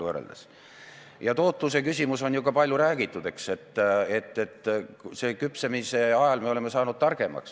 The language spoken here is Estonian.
Ka tootluse küsimusest on ju palju räägitud, eks ole, oleme küpsemise ajal saanud targemaks.